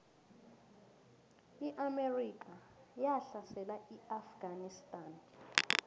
iamerika yahlasela iafganistan